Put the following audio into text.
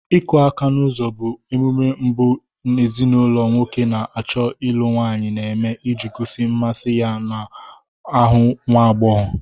Ịkụ aka n'uzo bụ emume mbụ ezinaụlọ nwoke na-achọ ịlụ nwaayị na-eme iji gosi mmasị ya n'ahụ nwagbọghọ.